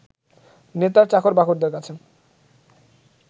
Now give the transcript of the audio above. নেতার চাকর-বাকরদের কাছে